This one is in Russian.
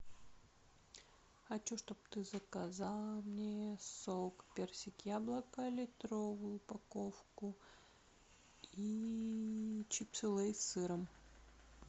хочу чтоб ты заказала мне сок персик яблоко литровую упаковку и чипсы лейс с сыром